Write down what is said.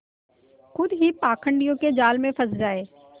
खुद ही पाखंडियों के जाल में फँस जाए